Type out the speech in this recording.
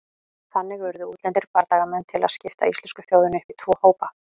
Þannig urðu útlendir bardagamenn til að skipta íslensku þjóðinni upp í tvo hópa.